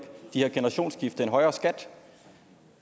generationsskifter en højere skat